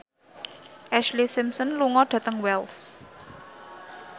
Ashlee Simpson lunga dhateng Wells